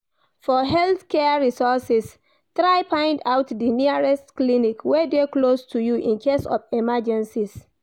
For health care resources try find out di nearest clinic wey de close to you in case of emergencies